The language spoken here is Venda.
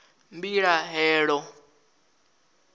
mbilahelo